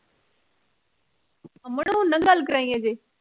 ਨ ਗੱਲ ਕਰਾਈ ਅਜੇ